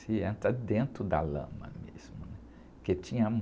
Se entra dentro da lama mesmo, né? Porque tinham...